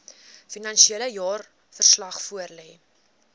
finansiële jaarverslag voorlê